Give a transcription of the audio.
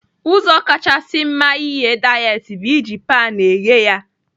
Ụzọ kachasị mma ighe dayetị bụ iji paan eghe ya.